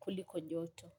kuliko joto.